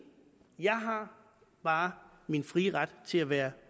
jeg har bare min frie ret til at være